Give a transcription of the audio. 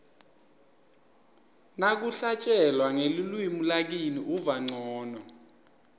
nakuhlatjelwa ngelulwimi lakini uva ncono